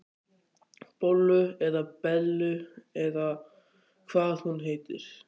Bollu eða Bellu eða hvað hún heitir.